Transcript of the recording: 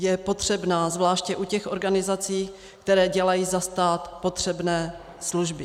Je potřebná, zvláště u těch organizací, které dělají za stát potřebné služby.